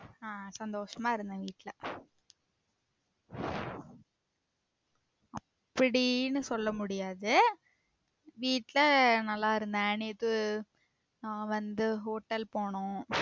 ஆஹ் சந்தோசமா இருந்தேன் வீட்ல அப்படின்னு சொல்ல முடியாது வீட்ல நல்ல இருந்தேன் நேத்து நான் வந்து hotel போனோம்